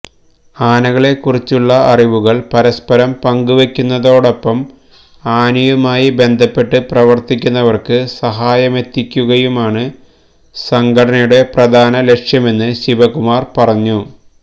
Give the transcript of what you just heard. ആനകളെ കുറിച്ചുള്ള അറിവുകള് പരസ്പരം പങ്കുവെക്കുന്നതോടൊപ്പം ആനയുമായി ബന്ധപ്പെട്ട് പ്രവര്ത്തിക്കുന്നവര്ക്ക് സഹായമെത്തിക്കുകയുമാണ് സംഘടനയുടെ പ്രധാന ലക്ഷ്യമെന്ന് ശിവകുമാര് പറഞ്ഞു